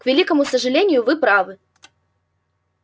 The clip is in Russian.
к великому сожалению вы правы